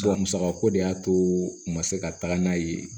A musakako de y'a to ma se ka taga n'a ye